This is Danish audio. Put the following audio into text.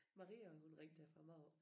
Maria og Ulrik der fra Mårup